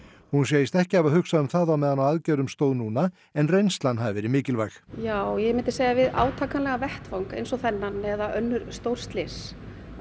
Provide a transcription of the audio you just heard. hún segist ekki hafa hugsað um það á meðan á aðgerðum stóð núna en reynslan hafi verið mikilvæg já ég myndi segja að við átakanlegan vettvang eins og þennan eða önnur stór slys